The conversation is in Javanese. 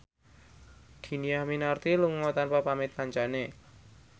Dhini Aminarti lunga tanpa pamit kancane